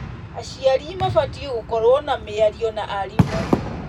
Aciari mabatiĩ gũkorwo na mĩario na arimũ.